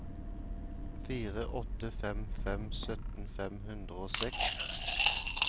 fire åtte fem fem sytten fem hundre og seks